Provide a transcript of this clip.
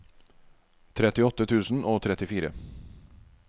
trettiåtte tusen og trettifire